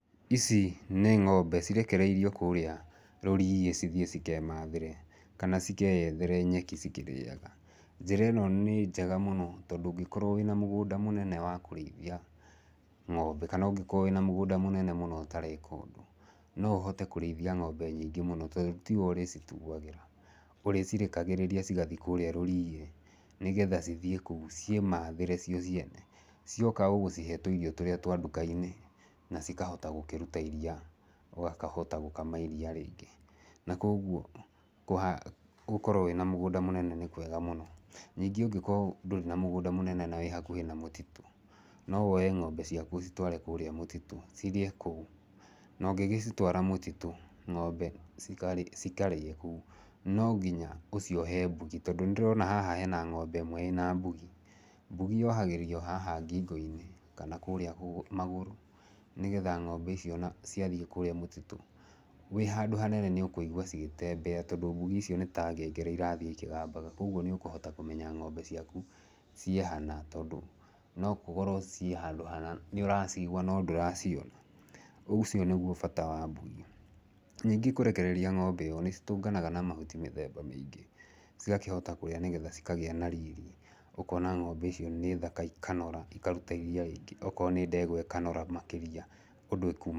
Ici nĩ ng'ombe cirekereirio kũũrĩa rũriĩ cithiĩ cikemathĩre. Kana cikeyethere nyeki cikĩrĩaga. Njĩra ĩno nĩ njega mũno, tondũ ũngĩkorwo wĩna mũgũnda mũnene wa kũrĩithia ng'ombe, kana ũngĩkorwo wĩna mũgũnda mũnene ũtareka ũndũ, no ũhote kũrĩithia ng'ombe nyingĩ mũno, tondũ tiwe ũrĩcituagĩra. Ũrĩcerakagĩrĩria cigathi kũũrĩa rũriĩ, nĩgetha cithiĩ kũu, ciĩmathĩre cio ciene. Cioka ũgũcihe tũirio tũrĩa twa nduka-inĩ, na cikahota gũkĩruta iria, ũgakahota gũkama iria rĩingĩ. Na kũguo, gũkorwo wĩna mũgũnda mũnene nĩ kwega mũno. Ningĩ ũngĩkorwo ndũrĩ na mũgũnda mũnene na wĩ hakuhĩ na mũtitũ, no woe ng'ombe ciaku ũcitware kũũrĩa mũtitũ. Cirĩe kũu. Na ũngĩgĩcitwara mũtitũ, ng'ombe cikarĩa kũu, no nginya ũciohe mbugi, tondũ nĩ ndĩrona haha hena ng'ombe ĩmwe ĩna mbugi. Mbugi yohagĩrĩrio haha ngingo-inĩ, kana kũũrĩa magũrũ nĩgetha ng'ombe ici ona ciathiĩ kũũrĩa mũtitũ, wĩ handũ hanene nĩ ũkũigua cigĩtembea, tondũ mbugi icio nĩta ngengere ĩrathiĩ o ikĩgambaga. Koguo nĩ ũkũhota kũmenya ng'ombe ciaku ciĩ hana, tondũ no gũkorwo ciĩ handũ hanu nĩ ũracigua no ndũraciona. Ũcio nĩguo bata wa mbugi. Ningĩ kũrekereria ng'ombe ũũ, nĩ citũnganaga na mahuti mĩthemba mĩingĩ, cigakĩhota kũrĩa nĩgetha cikagĩa na riri. Ũkona ng'ombe icio nĩ thaka, ikanora, ikaruta iria rĩingĩ. Okorwo nĩ ndegwa ĩkanoro makĩria ũndũ ĩkuuma...